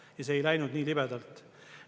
Ja see ei läinud nii libedalt.